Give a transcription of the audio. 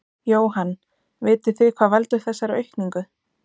Jóhann: Vitið þið hvað veldur þessari aukningu?